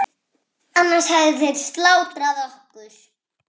Annars hefðu þeir slátrað okkur.